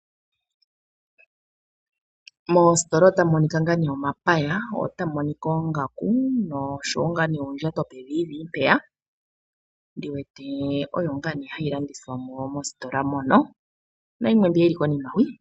Momositola ota mu monika ngaa ne omapaya, otamu monika oongaku noshowo ngaa ne oondjato peviivi mpeya ndi wete oyo ngaa ne hayi landithwamo mositola mono na yimwe mbiya yi li konima hwi.